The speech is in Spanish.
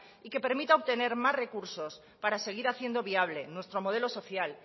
y que permita obtener más recursos para seguir haciendo viable nuestro modelo social